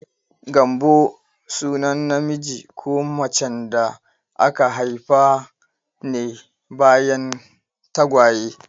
Gambo sunan namiji ko macen da aka haifa ne bayan tagwaye.